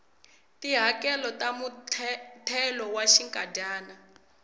tihakelo ta muthelo wa xinkadyana